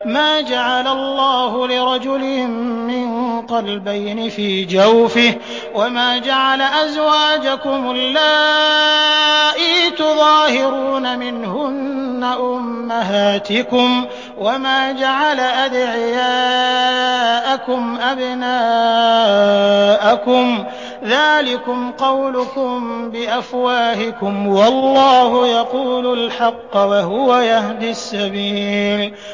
مَّا جَعَلَ اللَّهُ لِرَجُلٍ مِّن قَلْبَيْنِ فِي جَوْفِهِ ۚ وَمَا جَعَلَ أَزْوَاجَكُمُ اللَّائِي تُظَاهِرُونَ مِنْهُنَّ أُمَّهَاتِكُمْ ۚ وَمَا جَعَلَ أَدْعِيَاءَكُمْ أَبْنَاءَكُمْ ۚ ذَٰلِكُمْ قَوْلُكُم بِأَفْوَاهِكُمْ ۖ وَاللَّهُ يَقُولُ الْحَقَّ وَهُوَ يَهْدِي السَّبِيلَ